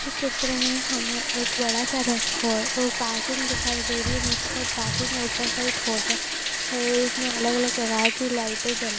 इस चित्र में हमे एक बड़ा सा और पार्किंग दिखाई दे रही हैं निचे साइड पार्किंग हैं ऊपर साइड होटल हैं उसमे अलग अलग प्रकार की लाइटिंग जल--